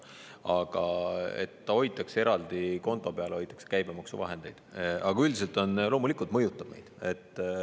Aga loomulikult mõjutab meid.